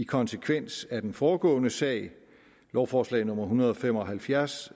konsekvens af den foregående sag lovforslag nummer hundrede og fem og halvfjerds